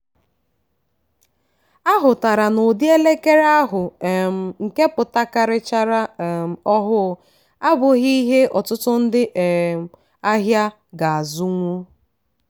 a hụtara n'ụdị elekere ahụ um nke pụtakarichara um ọhụụ abụghị ihe ọtụtụ ndị um ahịa ga-azụnwu